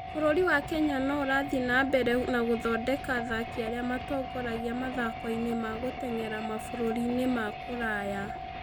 Bũrũri wa Kenya no ũrathiĩ na mbere na gũthondeka athaki arĩa matongoragia mathako-inĩ ma gũteng'era mabũrũri ma kũraya.